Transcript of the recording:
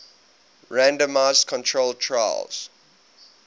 randomized controlled trials